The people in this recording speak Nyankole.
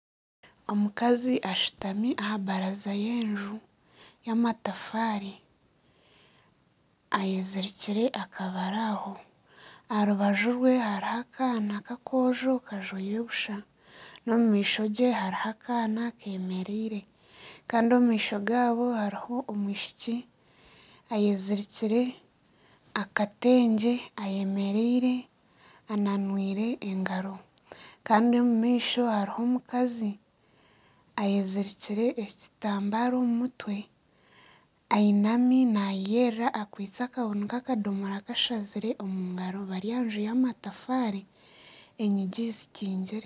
Omukazi ashutami aha baraza y'enju y'amatafaari ayezirikire akabaraho. Aha rubaju rwe hariho akaana k'akojo kajwaire busha n'omu maisho ge hariho akaana kemereire. Kandi omu maisho gaabo hariho omwishiki ayezirikire akatengye ayemereire ananwire engaro. Kandi omu maisho hariho omukazi ayezirikire ekitambaara omu mutwe. Ainami nayeyerera akwaitse ekabuuni k'akadomora kashazire omu ngaro bari aha nju y'amatafaari, enyigi zikingire.